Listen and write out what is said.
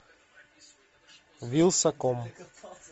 вилсаком